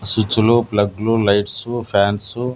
సుచ్చులు ప్లగ్లు lights fans --